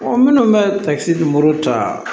minnu bɛ takisi nimoro ta